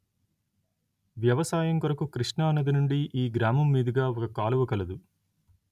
వ్యవసాయం కొరకు కృష్ణా నది నుండి ఈ గ్రామము మీదుగా ఒక కాలువ కలదు